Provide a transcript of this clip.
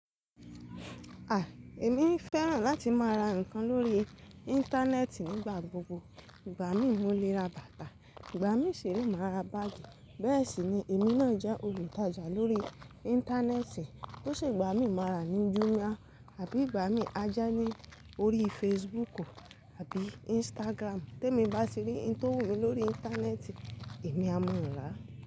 À, èmi fẹ́ràn láti máa ra nǹkan lórí Íńtánẹ́ẹ̀tì nígbà gbogbo. Ìgbà mií mo lé ra bàtà, ìgbà mií ṣire máa ra báàgì, bẹ́ẹ̀ sì ni èmi náà jẹ́ olùtajà lórí Íńtánẹ́ẹ̀tì. Bo ṣe ìgbà mí máa ra ní Jumia àbí ìgbà mí a je ní orí Facebook àbí Instagram. Tí èmi bá ti rí ohun tó wù mí lórí Íńtánẹ́ẹ̀tì, èmi á ma n ràa.